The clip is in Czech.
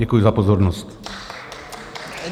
Děkuji za pozornost.